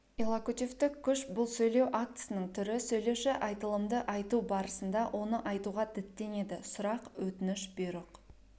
иллокутивтік күш бұл сөйлеу актісінің түрі сөйлеуші айтылымды айту барысында оны айтуға діттенеді сұрақ өтініш бұйрық